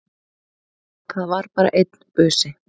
Það var bara einn busi!